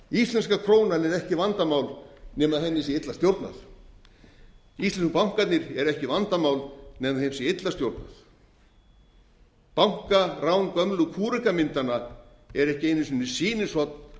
íslenska krónan er ekki vandamál nema henni sé illa stjórnað íslensku bankarnir eru ekki vandamál nema þeim sé illa stjórnað bankarán gömlu kúrekamyndanna er ekki einu sinni sýnishorn